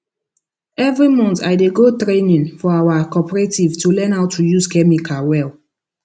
every month i dey go training for our cooperative to learn how to use chemical well